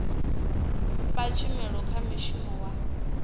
fha tshumelo kha mushumi wa